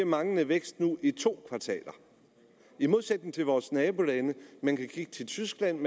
manglende vækst nu i to kvartaler i modsætning til situationen i vores nabolande man kan kigge til tyskland